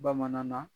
Bamanan na